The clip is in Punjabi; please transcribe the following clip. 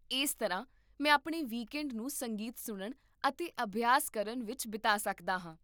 ਇਸ ਤਰ੍ਹਾਂ, ਮੈਂ ਆਪਣੇ ਵੀਕਐਂਡ ਨੂੰ ਸੰਗੀਤ ਸੁਣਨ ਅਤੇ ਅਭਿਆਸ ਕਰਨ ਵਿੱਚ ਬਿਤਾ ਸਕਦਾ ਹਾਂ